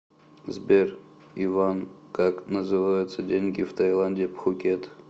сбер иван как называются деньги в тайланде пхукет